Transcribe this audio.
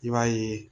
I b'a ye